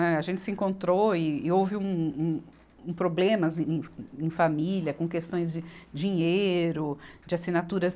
Né. A gente se encontrou e houve um, um problemas em, em família, com questões de dinheiro, de assinaturas.